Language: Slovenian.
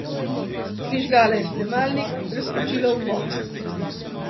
Prižgala je snemalnik, preskočila uvod.